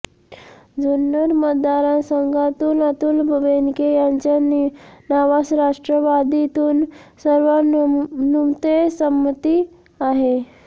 जुन्नर मतदारसंघातून अतुल बेनके यांच्या नावास राष्ट्रवादीतून सर्वानुमते संमती आहे